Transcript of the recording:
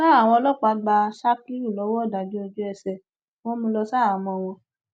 sa àwọn ọlọpàá gba sakiru lọwọ ìdájọ ojúẹsẹ wọn mú un lọ ṣaháàmọ wọn